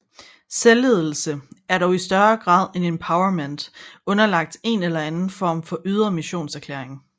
Selvledelse er dog i større grad end empowerment underlagt en eller anden form for ydre missionserklæring